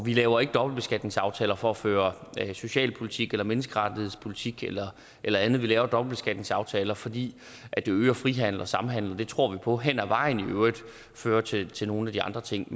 vi laver ikke dobbeltbeskatningsaftaler for at føre socialpolitik eller menneskerettighedspolitik eller eller andet vi laver dobbeltbeskatningsaftaler fordi det øger frihandel og samhandel og det tror vi på hen ad vejen i øvrigt fører til til nogle af de andre ting